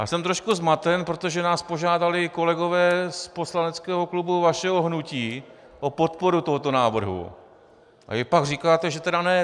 Já jsem trochu zmaten, protože nás požádali kolegové z poslaneckého klubu vašeho hnutí o podporu tohoto návrhu, a vy pak říkáte, že tedy ne.